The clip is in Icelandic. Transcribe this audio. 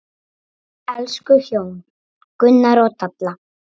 Elsku hjón, Gunnar og Dalla.